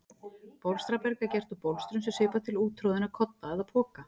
Bólstraberg er gert úr bólstrum sem svipar til úttroðinna kodda eða poka.